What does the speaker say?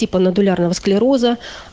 типа нодулярного склероза